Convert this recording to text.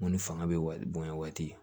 Ŋo ni fanga be bonya waati